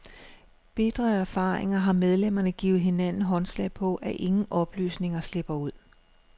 Bitre af erfaringer har medlemmerne givet hinanden håndslag på, at ingen oplysninger slipper ud.